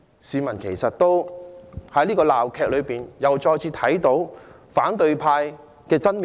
市民在這場鬧劇裏再次看到反對派的真面目。